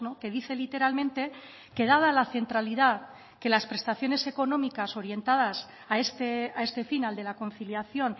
que dice literalmente que dada la centralidad que las prestaciones económicas orientadas a este fin al de la conciliación